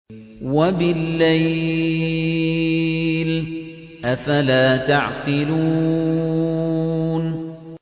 وَبِاللَّيْلِ ۗ أَفَلَا تَعْقِلُونَ